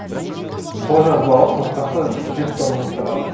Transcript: қолжазбалық нұсқасы жүз томнан тұрады